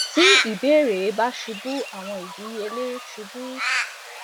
ti ibeere ba ṣubu awọn idiyele ṣubu